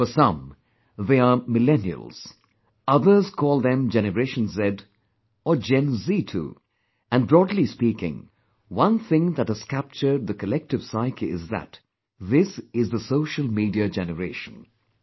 For some they are millennials; others call them generation Z or Gen Zee too; and broadly speaking, one thing that has captured the collective psyche is that this is the 'Social Media Generation'